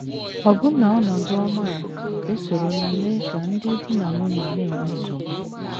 Ọbụna ọnọdụ ọma a esorola mee ka ndị di na nwunye na - enwe nsogbu.